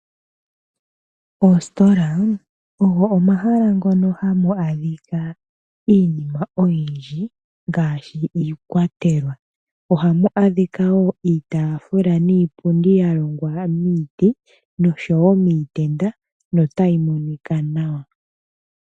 Oositola ogo omahala ngoka hamu adhika iinima oyindji ngaashi iikwatelwa. Ohamu adhika wo iitaafula niipundi ya longwa miiti nosho wo miitenda notayi monika nawa.